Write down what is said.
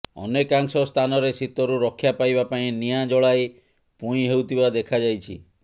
ଅନେକାଂଶ ସ୍ଥାନରେ ଶୀତରୁ ରକ୍ଷା ପାଇବା ପାଇଁ ନିଆଁ ଜଳାଇ ପୁଇଁ ହେଉଥିବା ଦେଖାଯାଇଛି